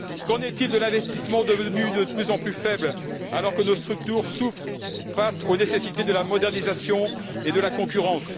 Qu'en est il de l'investissement devenu de plus en plus faible alors que nos structures souffrent face aux nécessités de la modernisation et de la concurrence?